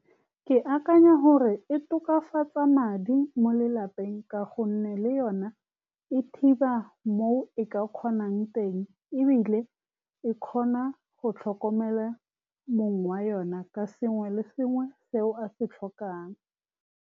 Ke akanya gore e tokafatsa madi mo lelapeng, ka gonne le yone e thiba mo e ka kgonang teng, ebile e kgona go tlhokomela mong wa yone ka sengwe le sengwe seo a se tlhokang.